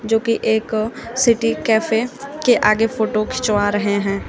जो कि एक सिटी कैफे के आगे फोटो खिंचवा रहे हैं।